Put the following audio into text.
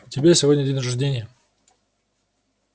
у тебя сегодня день рождения